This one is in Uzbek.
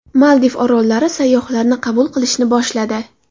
Maldiv orollari sayyohlarni qabul qilishni boshladi.